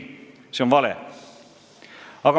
See on vale!